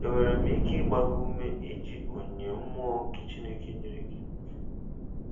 Enwere m ike ịgba gị ume iji onyinye mmụọ nke Chineke nyere gị?